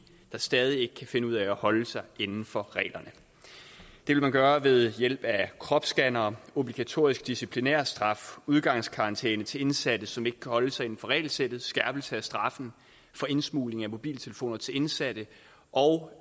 der stadig ikke kan finde ud af at holde sig inden for reglerne det vil man gøre ved hjælp af kropsscannere obligatorisk disciplinærstraf udgangskarantæne til indsatte som ikke kan holde sig inden for regelsættet skærpelse af straffen for indsmugling af mobiltelefoner til indsatte og